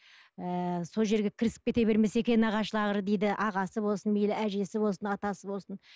ыыы сол жерге кірісіп кете бермесе екен нағашылары дейді ағасы болсын мейлі әжесі болсын атасы болсын